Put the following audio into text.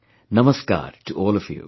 Namaskar to all of you